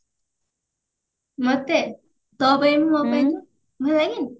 ମୋତେ? ତୋ ପାଇଁ ମୁଁ ମୋ ପାଇଁ ତୁ